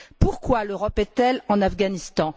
Pourquoi l'Europe est elle en Afghanistan?